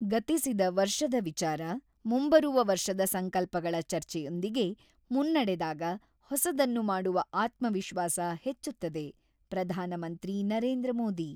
"""ಗತಿಸಿದ ವರ್ಷದ ವಿಚಾರ, ಮುಂಬರುವ ವರ್ಷದ ಸಂಕಲ್ಪಗಳ ಚರ್ಚೆಯೊಂದಿಗೆ ಮುನ್ನಡೆದಾಗ ಹೊಸದನ್ನು ಮಾಡುವ ಆತ್ಮವಿಶ್ವಾಸ ಹೆಚ್ಚುತ್ತದೆ""-ಪ್ರಧಾನಮಂತ್ರಿ ನರೇಂದ್ರ ಮೋದಿ."